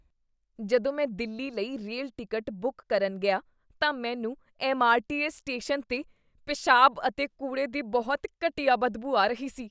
ਜਦੋਂ ਮੈਂ ਦਿੱਲੀ ਲਈ ਰੇਲ ਟਿਕਟ ਬੁੱਕ ਕਰਨ ਗਿਆ ਤਾਂ ਮੈਨੂੰ ਐੱਮ.ਆਰ.ਟੀ.ਐੱਸ. ਸਟੇਸ਼ਨ 'ਤੇ ਪਿਸ਼ਾਬ ਅਤੇ ਕੂੜੇ ਦੀ ਬਹੁਤ ਘਟੀਆ ਬਦਬੂ ਆ ਰਹੀ ਸੀ।